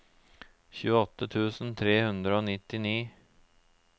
tjueåtte tusen tre hundre og nittini